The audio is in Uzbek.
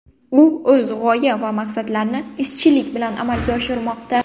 U o‘z g‘oya va maqsadlarini izchillik bilan amalga oshirmoqda.